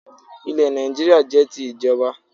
Ilẹ̀ Nàìjíríà jẹ́ ti ìjọba